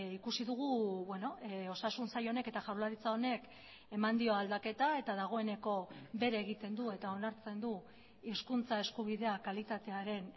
ikusi dugu osasun sail honek eta jaurlaritza honek eman dio aldaketa eta dagoeneko bere egiten du eta onartzen du hizkuntza eskubidea kalitatearen